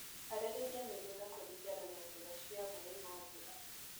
Harĩria mĩgunda kũringana na njĩra cia maĩ ma mbura.